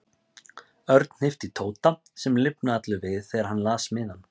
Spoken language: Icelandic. Örn hnippti í Tóta sem lifnaði allur við þegar hann las miðann.